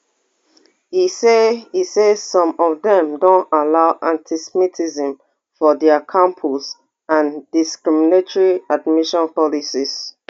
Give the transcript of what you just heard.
e say e say some of dem don allow antisemitism for dia campus and discriminatory admissions policies